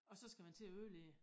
Og så skal man til at ødelægge det